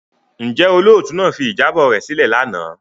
Njẹ olootu naa fi ijabọ rẹ silẹ lana?